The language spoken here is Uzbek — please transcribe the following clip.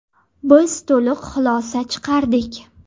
Biz to‘liq xulosa chiqardik.